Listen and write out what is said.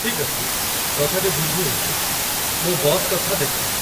ଠିକ୍ ଅଛି, କଥାଟି ବୁଝି ହେଉଛି, ମୁଁ ବସ୍ କଥା ଦେଖେଁ।